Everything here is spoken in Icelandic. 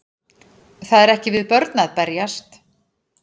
Það er ekki við börn að berjast